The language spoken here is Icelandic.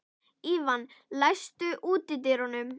Evían, læstu útidyrunum.